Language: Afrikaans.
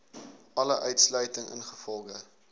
alle uitsluiting ingevolge